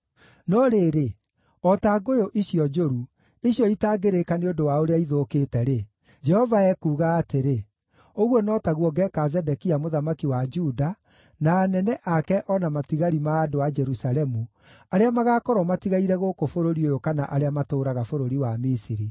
“ ‘No rĩrĩ, o ta ngũyũ icio njũru, icio itangĩrĩĩka nĩ ũndũ wa ũrĩa ithũkĩte-rĩ,’ Jehova ekuuga atĩrĩ, ‘ũguo no taguo ngeeka Zedekia mũthamaki wa Juda, na anene ake o na matigari ma andũ a Jerusalemu, arĩa magaakorwo matigaire gũkũ bũrũri ũyũ kana arĩa matũũraga bũrũri wa Misiri.